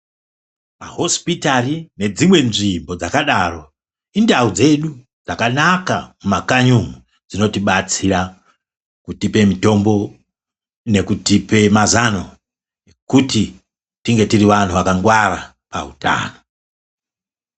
Mahospitari nedzimwe nzvimbo dzakadaro, indawo dzedu dzakanaka mumakanyi umo dzinoti batsira kutipe mitombo nekutipe mazano kuti tinge tiri vanhu vakangwara pahutano.